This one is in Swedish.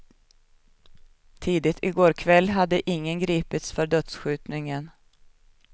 Tidigt i går kväll hade ingen gripits för dödsskjutningen.